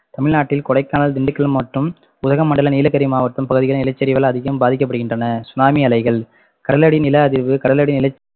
தமிழ்நாட்டில் கொடைக்கானல், திண்டுக்கல் மாவட்டம், உதகமண்டல நீலகிரி மாவட்டம் பகுதிகள் நிலச்சரிவுகள் அதிகம் பாதிக்கப்படுகின்றன சுனாமி அலைகள் கடலடி நில அதிர்வு கடலடி நில